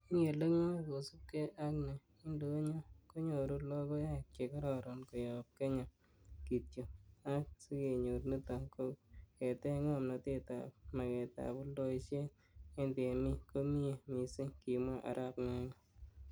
'Mi ele ngoi, kosiibge ak ne indonyo konyoru logoek che kororoon koyob Kenya kityok, ak sikenyor niton, ko ketech ngomnatet ab maketab oldoisiet en temik ko miyee missing,''kimwa arap Nganga